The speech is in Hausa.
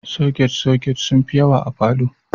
Soket-soket sun fi yawa a falo.